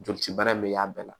Joli cibaara in bɛ y'a bɛɛ la